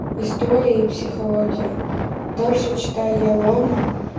истории психологии дальше читай я лома